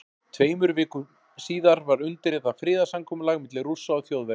Tveimur vikum síðar var undirritað friðarsamkomulag milli Rússa og Þjóðverja.